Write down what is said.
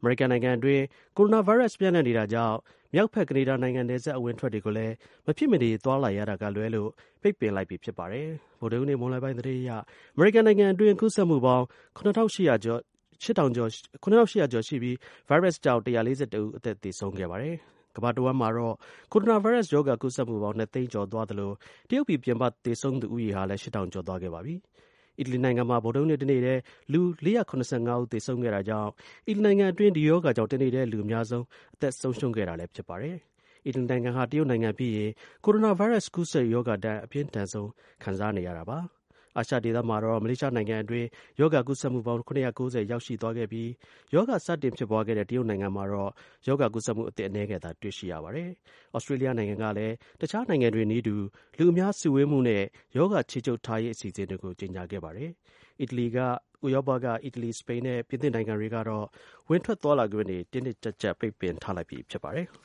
အမေရိကန်နိုင်ငံအတွင်း ကိုရိုနာ ဗိုင်းရပ်စ် ပျံ့နှံ့ နေတာကြောင့် မြောက်ဘက် ကနေဒါနိုင်ငံ နယ်စပ် အဝင်အထွက်တွေကိုလည်း မဖြစ်မနေသွားလာရတာကလွဲလို့ ပိတ်ပင်လိုက်ပြီ ဖြစ်ပါတယ်။ ဗုဒ္ဓဟူးနေ့ မွန်းလွဲပိုင်း သတင်းအရ အမေရိကန် နိုင်ငံ အတွင်း ကူးစက်မှုပေါင်း ၇၈၀၀ ကျော်ရှိပြီး ဗိုင်းရပ်စ်ကြောင့် ၁၄၁ ဦး အသက်သေဆုံးခဲ့ပါတယ်။ ကမ္ဘာတစ်ဝှမ်းမှာတော့ ကိုရိုနာဗိုင်းရပ်စ် ရောဂါ ကူးစက်မှုပေါင်း ၂ သိန်း ကျော်သွားသလို တရုတ်ပြည်ပြင်ပ သေဆုံးသူ ဦးရေ ဟာလည်း ၈၀၀၀ ကျော်သွားခဲ့ပါတယ်။ အီတလီနိုင်ငံမှာ ဗုဒ္ဓဟူးနေ့ တစ်နေ့တည်း လူ ၄၇၅ ဦး သေဆုံးခဲ့တာကြောင့် အီတလီနိုင်ငံ အတွင်း ဒီရောဂါကြောင့် တစ်နေ့တည်း လူ အများဆုံး အသက်ဆုံးရှုံးခဲ့တာလည်း ဖြစ်ပါတယ်။ အီတလီနိုင်ငံဟာ တရုတ်နိုင်ငံ ပြီးရင် ကိုရိုနာ ဗိုင်းရပ်စ် ကူးစက်ရောဂါ ဒဏ် အပြင်းထန်ဆုံး ခံစားနေရတာပါ။ အာရှဒေသမှာတော့ မလေးရှားနိုင်ငံအတွင်း ရောဂါ ကူးစက်မှုပေါင်း ၇၉၀ ရောက်သွားရှိခဲ့ပြီး ရောဂါစတင်ဖြစ်ပွားခဲ့တဲ့ တရုတ် နိုင်ငံမှာ ရောဂါကူးစက်မှုအသစ် အနည်းငယ် သာ တွေ့ရှိရပါတယ်။ သြစတြေးလျနိုင်ငံကလည်း တစ်ခြား နိုင်ငံတွေနည်းတူ လူအများ စုဝေးမှုနဲ့ ရောဂါ ခြေချုပ်ထားရေး အစီအစဉ်တွေကို ကြေညာခဲ့ ပါတယ်။ဥရောပက အီတလီ၊စပိန်နဲ့ ပြင်သစ်နိုင်ငံတွေက တော့ ဝင်ထွက်သွားလာခွင့်တွေ တင်းတင်းကျပ်ကျပ် ပိတ်ပင်ထားလိုက်ပြီဖြစ်ပါတယ်။